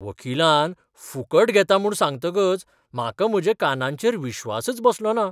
वकिलान फुकट घेतां म्हूण सांगतकच म्हाका म्हज्या कानांचेर विश्वासच बसलोना.